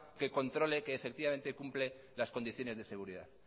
que controle que efectivamente cumple las condiciones de seguridad